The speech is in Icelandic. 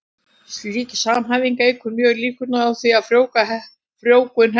Slík samhæfing eykur mjög líkurnar á því að frjóvgun heppnist.